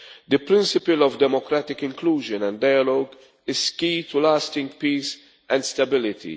The principle of democratic inclusion and dialogue is key to lasting peace and stability.